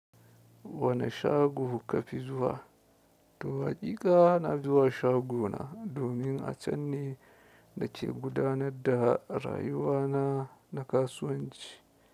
Wani shago kafi zuwa? Toh haki ka na zuwa shagona domin a can ne na ke gudanar da rayuwa na na kasuwanci.